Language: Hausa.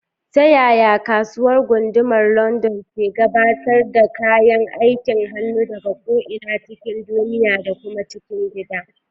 Ta yaya Kasuwar Gundumar London ke gabatar da kayan aikin hannu daga ko'ina cikin duniya da kuma cikin gida?